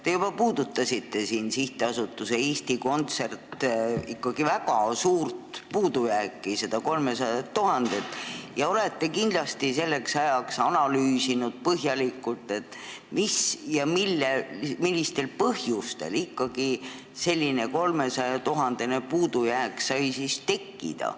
Te juba puudutasite siin SA Eesti Kontsert väga suur puudujääki, seda 300 000 eurot, ja olete kindlasti põhjalikult analüüsinud, millistel põhjustel ikkagi selline 300 000 euro suurune puudujääk sai tekkida.